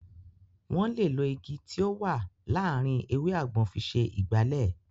Wọ́n lè lo Igi tí ó wà láàárín ewé àgbọn fi ṣe Ìgbálẹ́